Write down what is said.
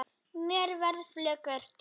Mér verður flökurt